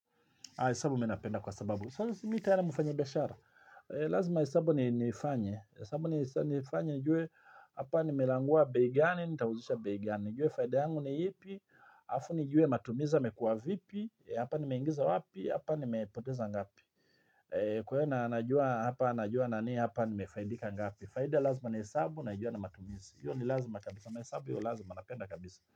Ha, hesabu minapenda kwa sababu. Mimi tayari mfanya biashara? Lazima hesabu ni nifanye. Hesabu ni nifanye nijue hapa nimelangua bei gani, nitauzisha bei gani. Nijue faida yangu ni ipi. Alafu nijue matumizi yamekua vipi. Hapa nimeingiza wapi. Hapa nimepoteza ngapi. Kwa hio na na jua nani, hapa nimefaidika ngapi. Faida lazima nihesabu, naijua na matumizi. Hiyo ni lazima kabisa. Hesabu hiyo lazima napenda kabisa.